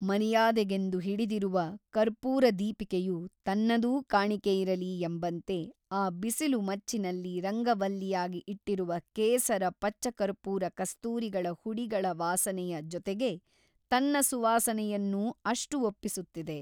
ಮರ್ಯಾದೆಗೆಂದು ಹಿಡಿದಿರುವ ಕರ್ಪೂರದೀಪಿಕೆಯು ತನ್ನದೂ ಕಾಣಿಕೆಯಿರಲಿ ಎಂಬಂತೆ ಆ ಬಿಸಿಲುಮಚ್ಚಿನಲ್ಲಿ ರಂಗವಲ್ಲಿಯಾಗಿ ಇಟ್ಟಿರುವ ಕೇಸರ ಪಚ್ಚಕರ್ಪೂರ ಕಸ್ತೂರಿಗಳ ಹುಡಿಗಳ ವಾಸನೆಯ ಜೊತೆಗೆ ತನ್ನ ಸುವಾಸನೆಯನ್ನೂ ಅಷ್ಟು ಒಪ್ಪಿಸುತ್ತಿದೆ.